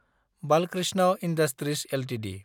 Balkrishna industries Ltd